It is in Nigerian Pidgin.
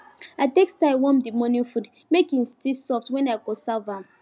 i take style warm the morning food make e still soft when i go serve am